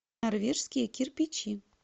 норвежские кирпичи